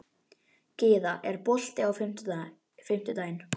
Gyða, er bolti á fimmtudaginn?